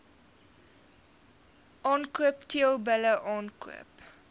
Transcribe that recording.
aankoop teelbulle aankoop